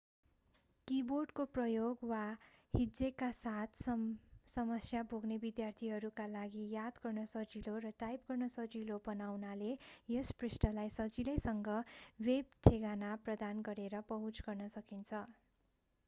किबोर्डको प्रयोग वा हिज्जेका साथ समस्या भोग्ने विद्यार्थीहरूका लागि याद गर्न सजिलो र टाइप गर्न सजिलो बनाउनाले यस पृष्ठलाई सजिलैसँग वेब ठेगाना प्रदान गरेर पहुँच गर्न सकिन्छ